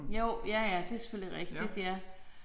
Jo ja ja det selvfølgelig rigtigt ja